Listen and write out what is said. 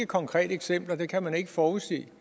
konkrete eksempler dem kan man ikke forudse